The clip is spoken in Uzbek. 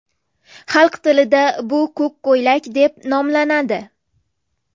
Xalq tilida bu ko‘k ko‘ylak deb nomlanadi.